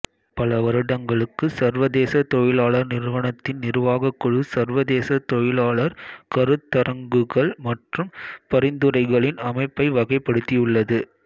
பல வருடங்களுக்கு சர்வதேச தொழிலாளர் நிறுவனத்தின் நிர்வாகக் குழு சர்வதேச தொழிலாளர் கருத்தரங்குகள் மற்றும் பரிந்துரைகளின் அமைப்பை வகைப்படுத்தியுள்ளது